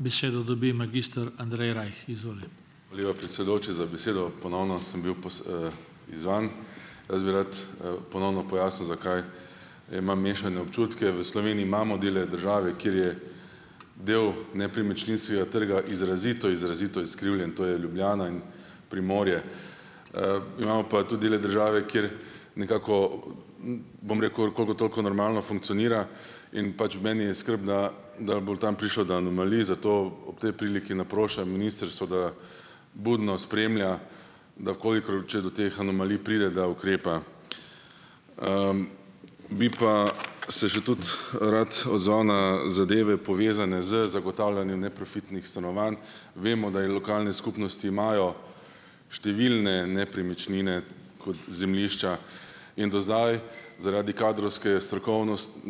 Besedo dobi magister Andrej Rajh, izvoli. Lepa, predsedujoči, za besedo ponovno sem bil izzvan, jaz bi rad, ponovno pojasnil, zakaj imam mešane občutke. V Sloveniji imamo dele države, kjer je del nepremičninskega trga izrazito izrazito izkrivljen, to je Ljubljana in Primorje, imamo pa tudi dele države, kjer nekako, bom rekel, koliko toliko normalno funkcionira in pač v meni je skrb, da da bo tam prišlo do anomalij, zato ob tej priliki naprošam ministrstvo, da budno spremlja, da kolikor če do teh anomalij pride, da ukrepa. bi pa se že tudi rad odzval na zadeve, povezane z zagotavljanjem neprofitnih stanovanj, vemo, da je lokalne skupnosti imajo številne nepremičnine kot zemljišča in do zdaj zaradi kadrovske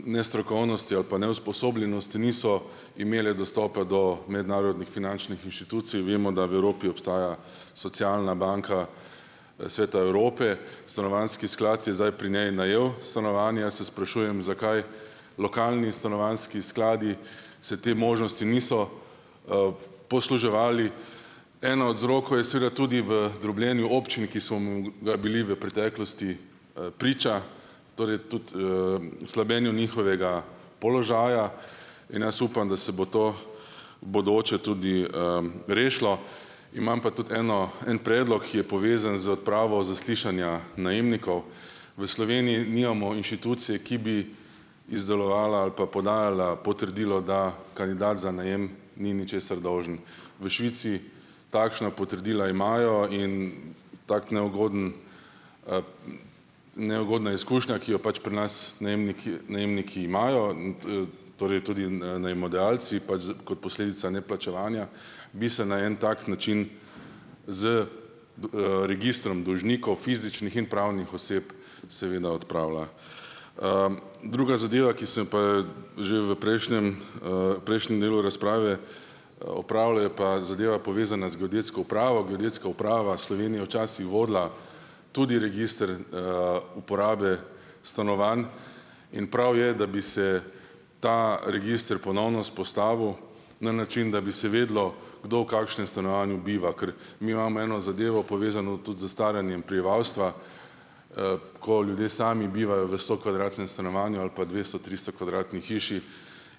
nestrokovnosti ali pa neusposobljenosti niso imele dostopa do mednarodnih finančnih inštitucij. Vemo, da v Evropi obstaja socialna banka, Svet Evrope, stanovanjski sklad je zdaj pri njej najel stanovanja se sprašujem, zakaj lokalni stanovanjski skladi se te možnosti niso, posluževali. Eden od vzrokov je seveda tudi v drobljenju občin, ki so mu bili v preteklosti, priča, torej tudi, slabljenju njihovega položaja in jaz upam, da se bo to bodoče tudi, rešilo, imam pa tudi eno en predlog, ki je povezan z odpravo zaslišanja najemnikov. V Sloveniji nimamo inštitucije, ki bi izdelovala ali pa podajala potrdilo, da kandidat za najem ni ničesar dolžen, v Švici takšna potrdila imajo in tako neugoden, neugodna izkušnja, ki jo pač pri nas najemniki najemniki imajo, in to torej tudi najemodajalci pač z kot posledica neplačevanja bi se na en tak način z registrom dolžnikov, fizičnih in pravnih oseb, seveda odpravila, druga zadeva, ki se pa že v prejšnjem, prejšnjem delu razprave, opravlja, je pa zadeva, povezana z geodetsko upravo. Geodetska uprava Slovenije včasih vodila tudi register, uporabe stanovanj, in prav je, da bi se ta register ponovno vzpostavil na način, da bi se videlo, kdo v kakšnem stanovanju biva, ker mi imamo eno zadevo, povezano tudi s staranjem prebivalstva, ko ljudje sami bivajo v stokvadratnem stanovanju ali pa dvesto-, tristokvadratni hiši,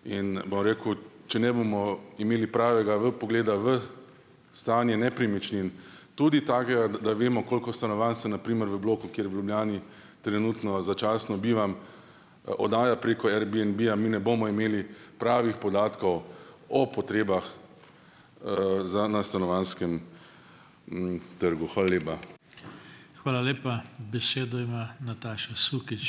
in bom rekel, če ne bomo imeli pravega vpogleda v stanje nepremičnin, tudi takega, da da vemo, koliko stanovanj se na primer v bloku, kjer v Ljubljani trenutno začasno bivam, oddaja preko Airbnbja, mi ne bomo imeli pravih podatkov o potrebah, za na stanovanjskem m trgu, hvala lepa. Hvala lepa. Besedo ima Nataša Sukič.